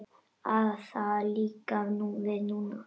Það á líka við núna.